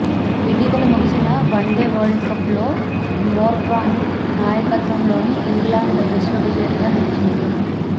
ఇటీవల ముగిసిన వన్డే వరల్డ్కప్లో మోర్గాన్ నాయకత్వంలోని ఇంగ్లండ్ విశ్వవిజేతగా నిలిచింది